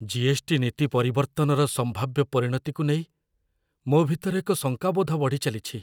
GST. ନୀତି ପରିବର୍ତ୍ତନର ସମ୍ଭାବ୍ୟ ପରିଣତିକୁ ନେଇ ମୋ ଭିତରେ ଏକ ଶଙ୍କାବୋଧ ବଢ଼ିଚାଲିଛି।